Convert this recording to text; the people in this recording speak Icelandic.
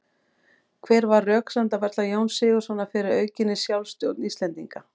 Hver var röksemdafærsla Jóns Sigurðssonar fyrir aukinni sjálfstjórn Íslendinga?